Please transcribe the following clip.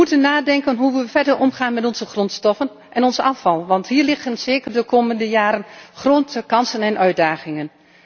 We moeten nadenken hoe we verder omgaan met onze grondstoffen en ons afval, want hier liggen zeker de komende jaren grote kansen en uitdagingen.